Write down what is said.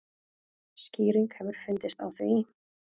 Skýring hefur fundist á því.